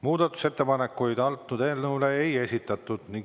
Muudatusettepanekuid eelnõu kohta ei esitatud.